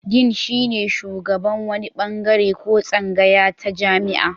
Din shine shugaban wani bangare ko tsangaya ta jami'a.